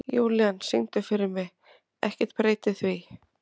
Júlían, syngdu fyrir mig „Ekkert breytir því“.